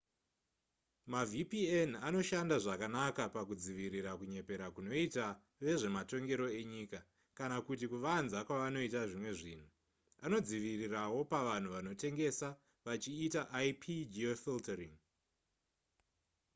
mavpn anoshanda zvakanaka pakudzivirira kunyepera kunoita vezvematongero enyika kana kuti kuvanza kwavanoita zvimwe zvinhu anodzivirirawo pavanhu vanotengesa vachiita ip-geofiltering